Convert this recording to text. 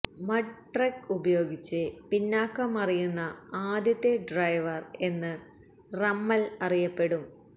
mud truck ഉപയോഗിച്ച് പിന്നാക്കം മറിയുന്ന ആദ്യത്തെ ഡ്രൈവര് എന്ന് റമ്മല് അറിയപ്പെടും